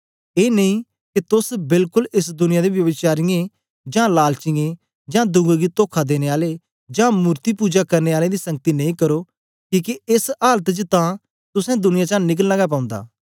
ए नेई के तोस बेलकोल एस दुनिया दे ब्यभिचारीयें जां लालचीयें जां दुए गी तोखा देने आले जां मूर्त्ति पुजा करने आलें दी संगति नेई करो किके एस आलत च तां तुसें दुनिया चा निकलना गै पौंदा